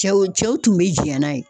Cɛw cɛw tun be jɛn n'a ye.